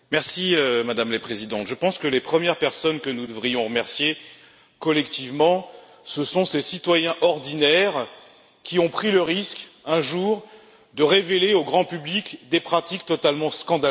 Madame la Présidente, je pense que les premières personnes que nous devrions remercier collectivement sont ces citoyens ordinaires qui ont pris le risque, un jour, de révéler au grand public des pratiques totalement scandaleuses.